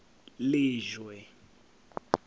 lejwe